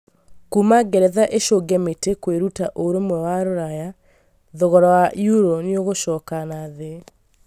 Kuuma ngeretha ĩcunge mĩtĩ kwĩruta ũrũmwe wa Rũraya, thogora wa euro nĩũgũcoka nathĩ